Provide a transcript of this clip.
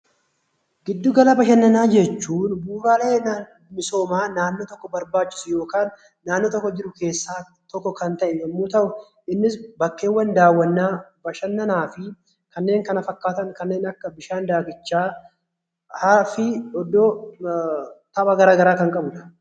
Giddu gala bashannanaa jechuun bu'uuraalee misoomaa naannoo tokko barbaachisu yookaan naannoo tokko jiru keessaa tokko kan ta'e yogguu ta'u, innis bakkeewwan daawwannaa, bashannanaafi kanneen kana fakkaatan bishaan daakichaa haraa fi iddoo tapha gara garaa kan qabudha.